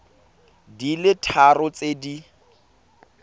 di le tharo tse di